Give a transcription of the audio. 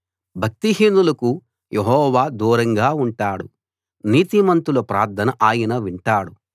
భక్తిహీనులకు Jehovah దూరంగా ఉంటాడు నీతిమంతుల ప్రార్థన ఆయన వింటాడు